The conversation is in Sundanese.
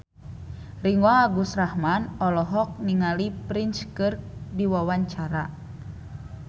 Ringgo Agus Rahman olohok ningali Prince keur diwawancara